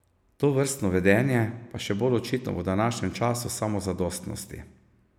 Tovrstno vedenje pa je še bolj očitno v današnjem času samozadostnosti.